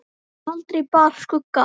Aldrei bar skugga á.